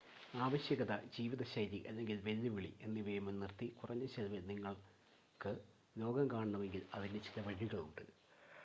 ആവശ്യകത ജീവിതശൈലി അല്ലെങ്കിൽ വെല്ലുവിളി എന്നിവയെ മുൻനിർത്തി കുറഞ്ഞ ചെലവിൽ നിങ്ങൾക്ക് ലോകം കാണണമെങ്കിൽ അതിന് ചില വഴികളുണ്ട്